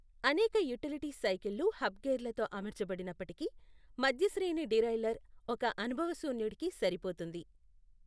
అనేక యుటిలిటీ సైకిళ్ళు హబ్ గేర్లతో అమర్చబడినప్పటికీ, మధ్య శ్రేణి డీరైల్లర్ ఒక అనుభవశూన్యుడుకి సరిపోతుంది.